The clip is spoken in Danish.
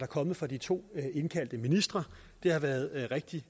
kommet fra de to indkaldte ministre det har været rigtig